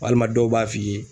Walima dɔw b'a f'i ye